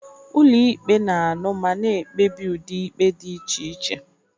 Ụlọ ikpe na-anụ ma na-ekpebi ụdị ikpe dị iche iche.